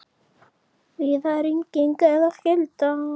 Víða rigning eða slydda